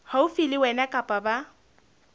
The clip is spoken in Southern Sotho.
haufi le wena kapa ba